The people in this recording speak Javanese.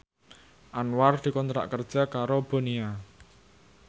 Anwar dikontrak kerja karo Bonia